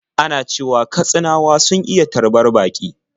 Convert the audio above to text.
Ana cewa Katsinawa sun iya tarbar baƙi.